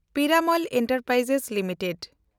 Piramal enterprise limited